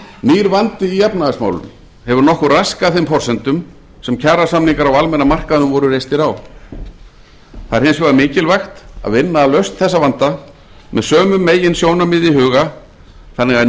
nýr vandi í efnahagsmálum hefur nokkuð raskað þeim forsendum sem kjarasamningar á almenna markaðnum voru reistir á það er hins vegar mikilvægt að vinna að lausn þessa vanda með sömu meginsjónarmið í huga þannig að